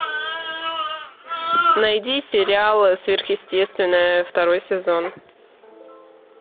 найди сериал сверхъестественное второй сезон